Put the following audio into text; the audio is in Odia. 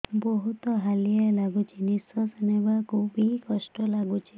ବହୁତ୍ ହାଲିଆ ଲାଗୁଚି ନିଃଶ୍ବାସ ନେବାକୁ ଵି କଷ୍ଟ ଲାଗୁଚି